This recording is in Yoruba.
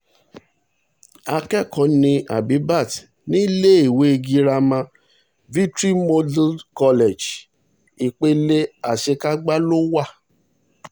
akẹ́kọ̀ọ́ ní bbaat níléèwé girama victory model college ipele àṣekágbá ló wà